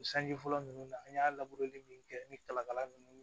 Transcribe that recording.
O sanji fɔlɔ ninnu na an y'a min kɛ ni kalakala ninnu